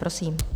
Prosím.